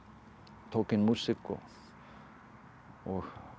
tók inn músík og